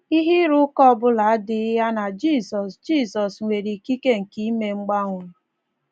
Ihe ịrụ ụka ọ bụla adịghị ya na Jizọs Jizọs nwere ikike nke ime mgbanwe.